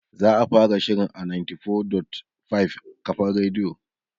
Za'a fara shirin a 94.5 kafar radiyo